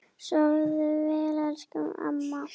Sofðu vel, elsku amma.